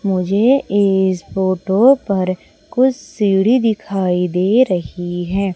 मुझे इस फोटो पर कुछ सीढ़ी दिखाई दे रही है।